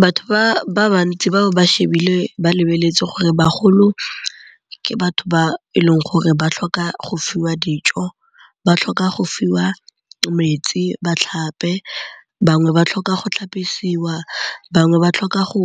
Batho ba bantsi ba ba lebeletse gore bagolo ke batho ba e leng gore ba tlhoka go fiwa dijo, ba tlhoka go fiwa metsi, ba tlhape. Bangwe ba tlhoka go tlhapisiwa bangwe ba tlhoka go